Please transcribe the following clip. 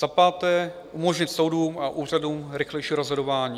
Za páté, umožnit soudům a úřadům rychlejší rozhodování.